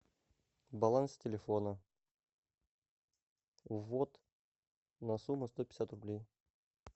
баланс телефона ввод на сумму сто пятьдесят рублей